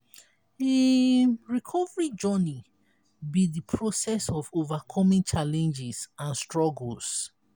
um recovery journey be di process of overcoming challenges and struggles.